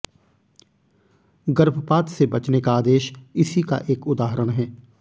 गर्भपात से बचने का आदेश इसी का एक उदाहरण है